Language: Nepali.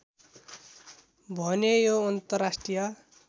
भने यो अन्तर्राष्ट्रिय